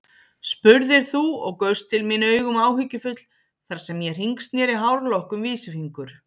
spurðir þú og gaust til mín augum áhyggjufull þar sem ég hringsneri hárlokk um vísifingur.